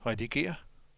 redigér